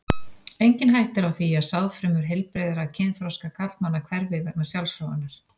Engin hætta er á því að sáðfrumur heilbrigðra kynþroska karlmanna hverfi vegna sjálfsfróunar.